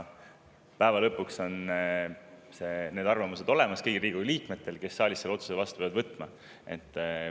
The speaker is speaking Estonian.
Päeva lõpuks on need arvamused olemas kõigil Riigikogu liikmetel, kes saalis selle otsuse peavad vastu võtma.